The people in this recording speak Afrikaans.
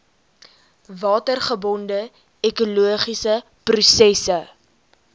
watergebonde ekologiese prosesse